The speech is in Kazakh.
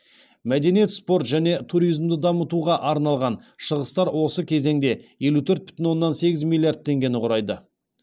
мәдениет спорт және туризмді дамытуға арналған шығыстар осы кезеңде елу төрт бүтін оннан сегіз миллиард теңгені құрайды